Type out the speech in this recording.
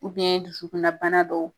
dusukunna bana dɔw